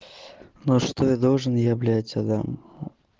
но что я должен я блять отдам